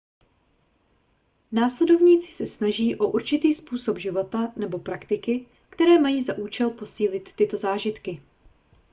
následovníci se snaží o určitý způsob života nebo praktiky které mají za účel posílit tyto zážitky